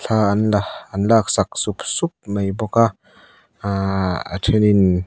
aaa an la an laksak sup sup mai bawk a ahh a then in--